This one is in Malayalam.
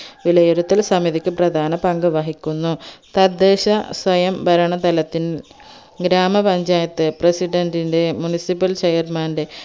വിലയിരുത്തൽ സമിതിക്ക് പ്രധാന പങ്ക് വഹിക്കുന്നു തദ്ദേശസ്വയംഭരണ തലത്തിന്റെ ഗ്രാമപഞ്ചായത് president ന്റെ municipal chairman ന്റെ